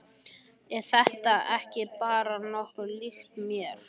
Er þetta ekki bara nokkuð líkt mér?